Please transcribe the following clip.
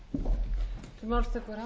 grétari mar jónssyni